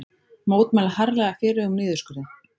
Mótmæla harðlega fyrirhuguðum niðurskurði